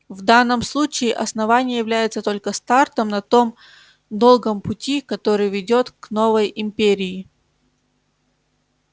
в данном случае основание является только стартом на том долгом пути который ведёт к новой империи